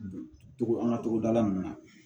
Togo an ka togoda nunnu na